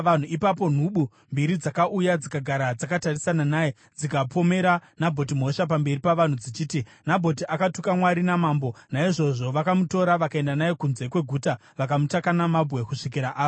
Ipapo nhubu mbiri dzakauya dzikagara dzakatarisana naye dzikapomera Nabhoti mhosva pamberi pavanhu, dzichiti, “Nabhoti akatuka Mwari namambo.” Naizvozvo vakamutora vakaenda naye kunze kweguta vakamutaka namabwe kusvikira afa.